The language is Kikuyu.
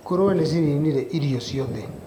Ngũrũwe nĩcininire irio ciothe.